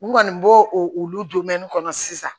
N kɔni b'o olu kɔnɔ sisan